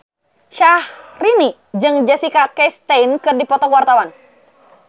Syahrini jeung Jessica Chastain keur dipoto ku wartawan